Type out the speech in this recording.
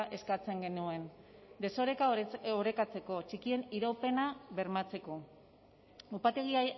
eskatzen genuen desoreka orekatzeko txikien iraupena bermatzeko upategi